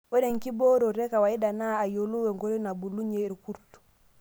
Ore enkiboorote ekawaida naa ayiolou nkoitoi naabulunyie irkurt.